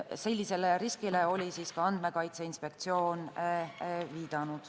Sellisele riskile oli viidanud ka Andmekaitse Inspektsioon.